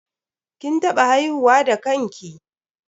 KIn taɓa haihuwa da kan ki?